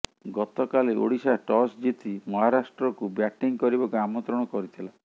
ଗତକାଲି ଓଡ଼ିଶା ଟସ୍ ଜିତି ମହାରାଷ୍ଟ୍ରକୁ ବ୍ୟାଟିଂ କରିବାକୁ ଆମନ୍ତ୍ରଣ କରିଥିଲା